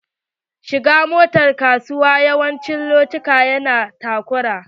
Shigar motar kasuwa yawancin lokuta ya na da takura.